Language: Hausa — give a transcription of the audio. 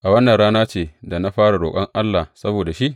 A wannan rana ce da na fara roƙon Allah saboda shi?